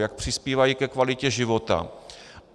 Jak přispívají ke kvalitě života.